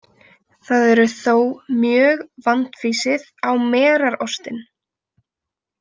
Það eru þó mjög vandfýsið á merarostinn.